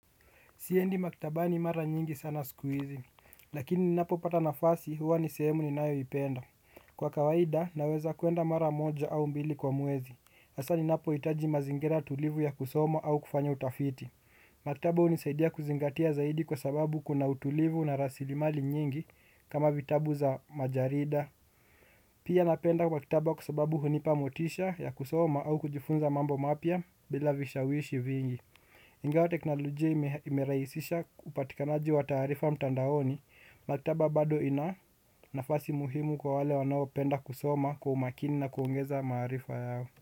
Siyendi maktaba ni mara nyingi sana sikuhizi, lakini ni napo pata na fasi huwa ni sehemu ni nayo ipenda. Kwa kawaida, naweza kuenda mara moja au mbili kwa muezi. Asa ni napo itaji mazingera tulivu ya kusoma au kufanya utafiti. Maktaba unisaidia kuzingatia zaidi kwa sababu kuna utulivu na rasili mali nyingi kama vitabu za majarida. Pia napenda kwa kitaba kusobabu hunipa motisha ya kusoma au kujifunza mambo mapya bila vishawishi vingi. Ingawa teknolojia imeraisisha upatikanaji wa taarifa mtandaoni maktaba bado ina nafasi muhimu kwa wale wanao penda kusoma kwa umakini na kuongeza maarifa yao.